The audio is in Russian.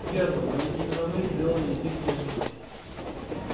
верно но ведь именно мы сделали из них техников